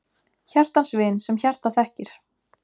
Hjartans vin, sem hjartað þekkir!